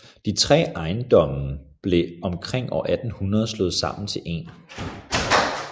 De 3 ejendommen blev omkring år 1800 slået sammen til én